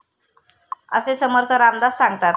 असे समर्थ रामदास सांगतात.